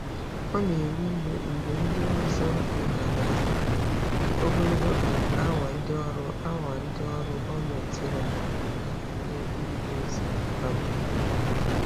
Ọ na-ewe iwe mgbe ndị ọzọ leghaara anya ogologo um awa ndị ọrụ awa ndị ọrụ gọọmentị raara onwe ha nye n'ije ozi. um